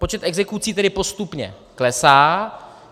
Počet exekucí tedy postupně klesá.